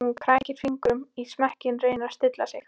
Hún krækir fingrum í smekkinn, reynir að stilla sig.